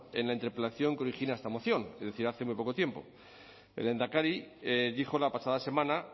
en la interpelación que origina esta moción es decir hace muy poco tiempo el lehendakari dijo la pasada semana